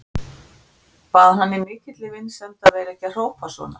Bað hann í mikilli vinsemd að vera ekki að hrópa svona.